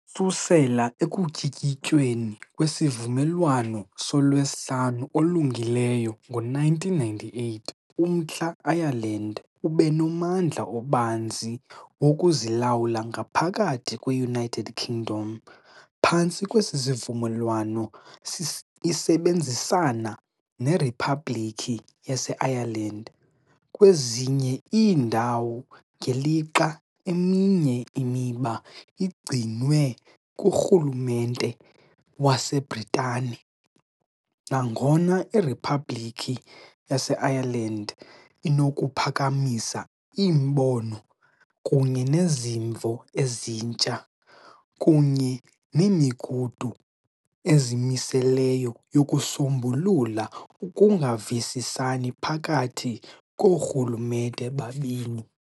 Ukususela ekutyikityweni kweSivumelwano soLwesihlanu oLungileyo ngo-1998, uMntla Ireland ube nommandla obanzi wokuzilawula ngaphakathi kwe-United Kingdom, phantsi kwesi sivumelwano, isebenzisana neRiphabhlikhi yaseIreland kwezinye iindawo, ngelixa eminye imiba igcinwe kurhulumente waseBritane, nangona iRiphabhlikhi yaseIreland "inokuphakamisa iimbono kunye nezimvo ezintsha" kunye "nemigudu ezimiseleyo yokusombulula ukungavisisani phakathi koorhulumente babini".